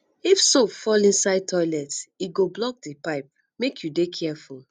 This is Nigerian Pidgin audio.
if soap fall inside toilet e go block di pipe make you dey careful